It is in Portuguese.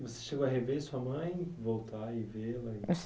Você chegou a rever sua mãe, voltar e vê-la?